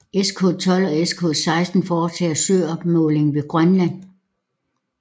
SKA12 og SKA16 foretager søopmåling ved Grønland